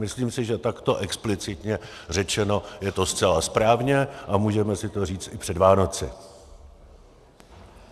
Myslím si, že takto explicitně řečeno je to zcela správně a můžeme si to říct i před Vánoci.